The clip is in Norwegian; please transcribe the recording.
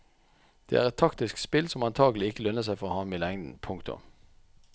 Det er et taktisk spill som antagelig ikke lønner seg for ham i lengden. punktum